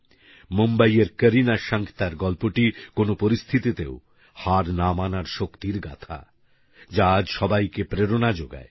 মুম্বইএর করিনা শাঙ্কতার গল্পটি কোনো পরিস্থিতিতেও হার না মানার শক্তির গাথা যা আজসবাইকে প্রেরণা জোগায়